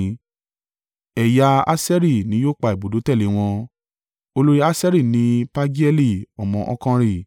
Ẹ̀yà Aṣeri ni yóò pa ibùdó tẹ̀lé wọn. Olórí Aṣeri ni Pagieli ọmọ Okanri.